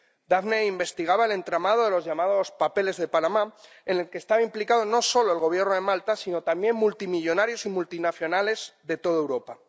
Daphne investigaba el entramado de los llamados papeles de Panamá, en el que estaba implicado no solo el Gobierno de Malta, sino también multimillonarios y multinacionales de toda Europa.